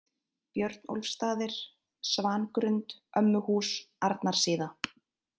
Björnólfsstaðir, Svangrund, Ömmuhús, Arnarsíða